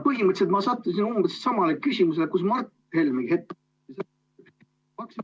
Põhimõtteliselt ma sattusin umbes samale küsimusele, kus Mart Helmegi hetk ...